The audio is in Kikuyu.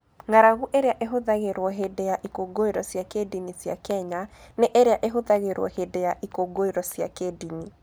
Ng'aragu ĩrĩa ĩhũthagĩrũo hĩndĩ ya ikũngũĩro cia kĩndini cia Kenya, nĩ ĩrĩa ĩhũthagĩrũo hĩndĩ ya ikũngũĩro cia kĩndini.